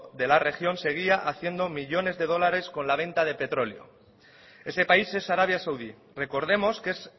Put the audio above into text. de la región seguía haciendo millónes de dólares con la venta de petróleo ese país es arabia saudí recordemos que es